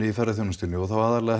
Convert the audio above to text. í ferðaþjónustunni og aðallega